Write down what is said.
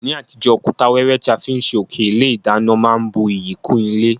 Ní àtijó, òkúta wẹ́wẹ́ ti a fi n sé òké ilé ìdánán má n bu iyì kún ilé